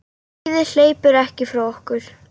Lífið hleypur ekki frá okkur.